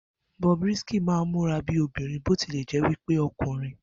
Bobrisky máa ń múra bí obìnrin bó ti lẹ̀ jẹ́ wí pé ọkùnrin